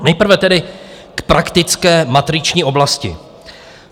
Nejprve tedy k praktické matriční oblasti.